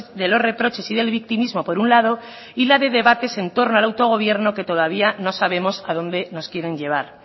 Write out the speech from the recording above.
de los reproches y del victimismo por un lado y la de debates en torno al autogobierno que todavía no sabemos a dónde nos quieren llevar